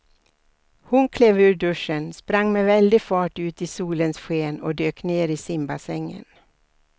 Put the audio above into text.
Hon klev ur duschen, sprang med väldig fart ut i solens sken och dök ner i simbassängen.